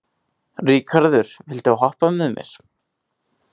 Ríkharður, viltu hoppa með mér?